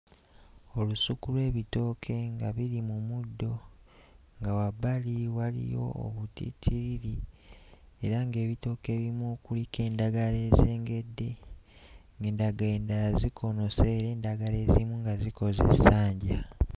Olusuku lw'ebitooke nga biri mu muddo. Nga wabbali waliyo obutittiriri era ng'ebitooke ebimu kuliko endagala ezengedde, ng'endagala endala zikoonose, endagala ezimu nga zikoze essanja.